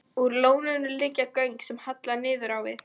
Úr lóninu liggja göng sem halla niður á við.